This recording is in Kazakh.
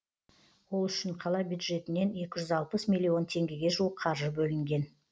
ол үшін қала бюджетінен екі жүз алпыс миллион теңгеге жуық қаржы бөлінген